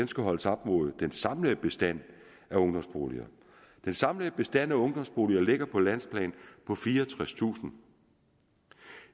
skal holdes op mod den samlede bestand af ungdomsboliger den samlede bestand af ungdomsboliger ligger på landsplan på fireogtredstusind